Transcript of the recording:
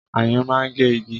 Ayùn máa ń gé igi